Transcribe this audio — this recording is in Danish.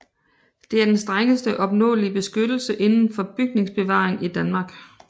Det er den strengeste opnåelige beskyttelse inden for bygningsbevaring i Danmark